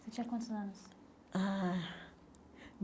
Você tinha quantos anos? ah